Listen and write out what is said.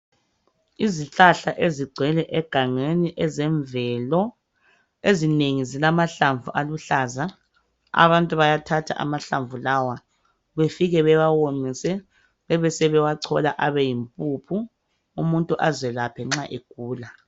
Izihlahla ezigcwele egangeni ezemvelo ezinengi zilamahlamvu aluhlaza abantu bayathatha amahlabvu lawa befike bewawomise bebesebewachola abe yimpuphu umuntu azelaphe nxa egula.